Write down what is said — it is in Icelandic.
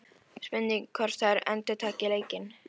Spurning hvort að þær endurtaki leikinn?